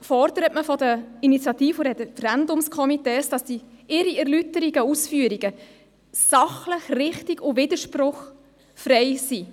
fordert man von den Initiativ- und Referendumskomitees, ihre Ausführungen und Erläuterungen müssten sachlich, richtig und widerspruchsfrei sein.